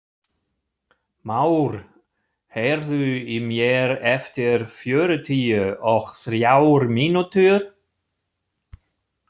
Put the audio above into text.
Már, heyrðu í mér eftir fjörutíu og þrjár mínútur.